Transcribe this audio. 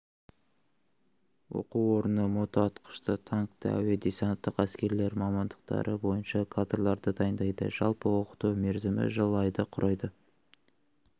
оқу орны мотоатқыш танкті әуе-десанттық әскерлер мамандықтары бойынша кадрларды дайындайды жалпы оқыту мерзімі жыл айды құрайды